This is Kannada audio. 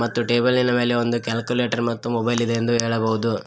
ಮತ್ತು ಟೇಬಲ್ಲಿನ ಮೇಲೆ ಒಂದು ಕ್ಯಾಲ್ಕುಲೇಟರ್ ಮತ್ತು ಮೊಬೈಲಿದೆ ಎಂದು ಹೇಳಬಹುದು.